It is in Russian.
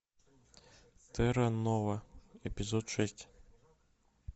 терра нова эпизод шесть